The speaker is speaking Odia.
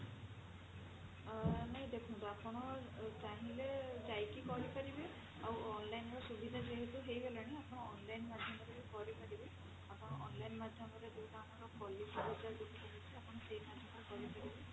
ଅ ନାଇଁ ଦେଖନ୍ତୁ ଆପଣ ଚାହିଁଲେ ଯାଇକି କରିପାରିବେ ଆଉ online ର ସୁବିଧା ଯେହେତୁ ହେଇଗଲାଣି ଆପଣ online ମାଧ୍ୟମରେ ବି କରିପାରିବେ ଆପଣ online ମାଧ୍ୟମରେ ଯଉଟା ଆମର policy bajar ରହୁଛି ଆପଣ ସେଇ ମଧ୍ୟ କରିପାରିବେ